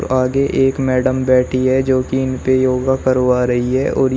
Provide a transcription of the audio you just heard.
आगे एक मैडम बैठी है जो कि इन पे योगा करवा रही है और ये--